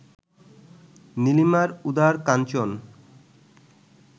নীলিমার উদার কাঞ্চন